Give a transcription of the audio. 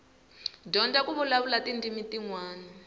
dyondza ku vulavula tindzimi tinwana